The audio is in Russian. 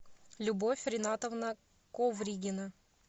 любовь ринатовна ковригина